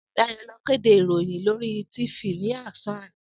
Dayo ló kédé iróyìn lóri tífisí ni òsàán àná